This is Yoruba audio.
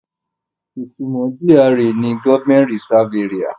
Ìtumọ̀ GRA ni Government Reserved Areas.